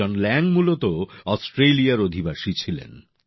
জন Lang মূলত অস্ট্রেলিয়ার অধিবাসী ছিলেন